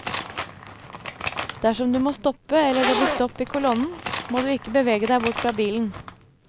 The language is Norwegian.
Dersom du må stoppe eller det blir stopp i kolonnen, må du ikke bevege deg bort fra bilen.